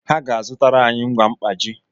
Ha ga-azụ tara anyị ngwa mkpaji